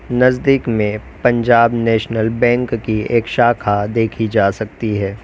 नजदीक में Punjab National Bank की एक शाखा देखी जा सकती है।